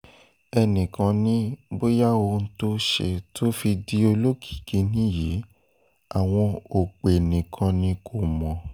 ẹnì kan ni bóyá ohun tó ṣe tó fi di olókìkí nìyí àwọn òpè nìkan ni kò mọ̀